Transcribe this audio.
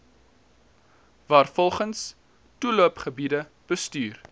waarvolgens toeloopgebiede bestuur